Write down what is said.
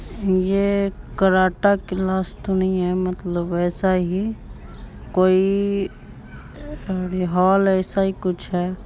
ये karate class तो नहीं है मतलब वैसा ही कोई अरे हॉल ऐसा ही कुछ है।